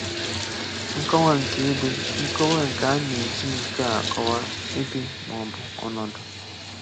Nkọwa nke Ebe Nkọwa A na-eji nke a akọwaa ebe ma ọ bụ ọnọdụ.